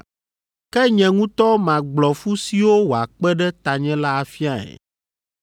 ke nye ŋutɔ magblɔ fu siwo wòakpe ɖe tanye la afiae.”